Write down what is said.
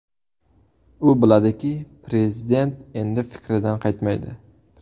U biladiki, Prezident endi fikridan qaytmaydi.